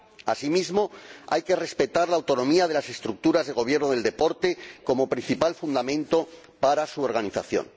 Asimismo, hay que respetar la autonomía de las estructuras de gobierno del deporte como principal fundamento para su organización.